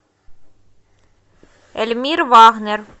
эльмир вагнер